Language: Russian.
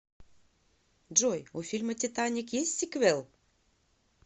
джой у фильма титаник есть сиквел